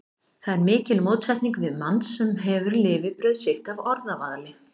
Það er mikil mótsetning við mann, sem hefur lifibrauð sitt af orðavaðli.